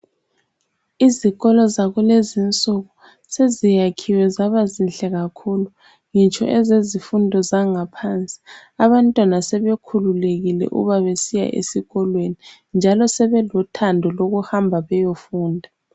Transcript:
Izikolo zakulezinsuku ,seziyakhiwe zabazinhle kakhulu ngitsho ezezifundo zangaphansi . Abantwana sebekhululekile uba besiya esikolweni njalo sebelothando lokuhamba beyofunda.